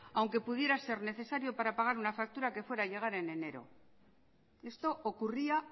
aunque pudiera ser necesario para poder pagar una factura que fuera llegar en enero esto ocurría